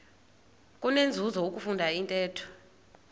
kunenzuzo ukufunda intetho